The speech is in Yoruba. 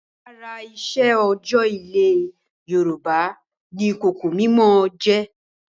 Lára iṣẹ́ òòjọ́ ilẹ̀ Yorùbá ni ìkòkò mímọ jẹ́.